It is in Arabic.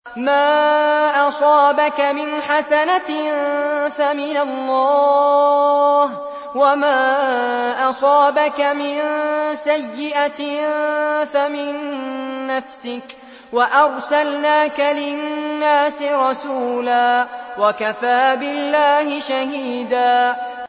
مَّا أَصَابَكَ مِنْ حَسَنَةٍ فَمِنَ اللَّهِ ۖ وَمَا أَصَابَكَ مِن سَيِّئَةٍ فَمِن نَّفْسِكَ ۚ وَأَرْسَلْنَاكَ لِلنَّاسِ رَسُولًا ۚ وَكَفَىٰ بِاللَّهِ شَهِيدًا